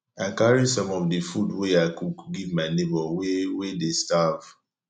i carry some of di food wey i cook give my nebor wey wey dey starve